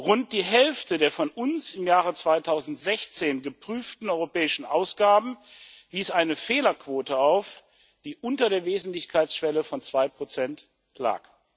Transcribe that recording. Rund die Hälfte der von uns im Jahre 2016 geprüften europäischen Ausgaben wies eine Fehlerquote auf, die unter der Wesentlichkeitsschwelle von 2 lag.